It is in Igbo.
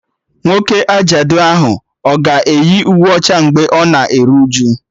Nwoke ajadu ahụ a ga-eyi uwe ọcha mgbe ọ na-eru uju?